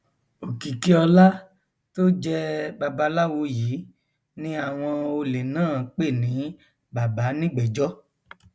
òkìkíọlá tó jẹ babaláwo yìí ni àwọn olè náà pè ní bàbánígbèéjọ